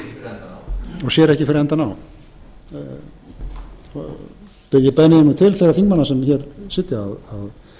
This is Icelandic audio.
ekki fyrir endann á ég beini því nú til þeirra þingmanna sem hér sitja að það væri auðvitað ráð